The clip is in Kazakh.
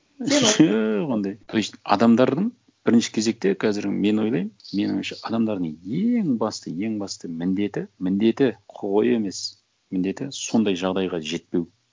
жоқ ондай то есть адамдардың бірінші кезекте қазір мен ойлаймын менің ойымша адамдардың ең басты ең басты міндеті міндеті құқығы емес міндеті сондай жағдайға жетпеу